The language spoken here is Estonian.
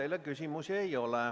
Teile küsimusi ei ole.